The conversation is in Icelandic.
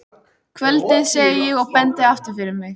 Kvöldið, segi ég og bendi aftur fyrir mig.